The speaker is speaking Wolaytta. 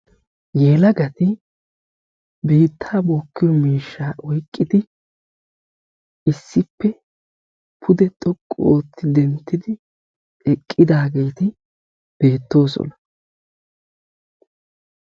Yelagati biittaa bookkiyo miishshaa oyqqidi issippe pude xoqqu ootti denttidi eqqidaageeti beettoosona.